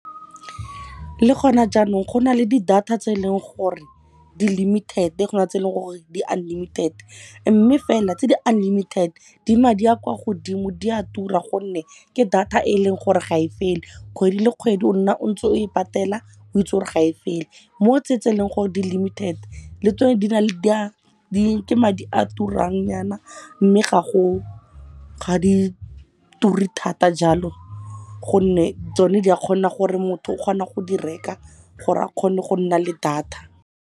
Le gone jaanong go na le di data tse e leng gore di limited go nale tse eleng gore di unlimited. Mme fela tse di unlimited di madi a kwa godimo, di a tura gonne ke data e leng gore ga e fele. Kgwedi le kgwedi o nna o ntse o e patela, o itse gore gae fele. Mo tse eleng gore di limited, le tsone ke madi a turang nyana. Mme ga di ture thata jalo gonne tsone di a kgona gore motho o kgona go di reka gore a kgone go nna le data.